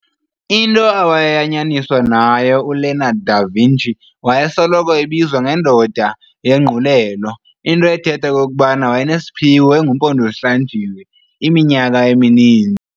Into awayesoyanyaniswa nayo uLeonardo da Vinci, wayesoloko ebizwa nge"ndoda yenguqulelo" into ethetha okokuba wayenesiphiwo engumpondozihlanjiwe iminyaka emininzi.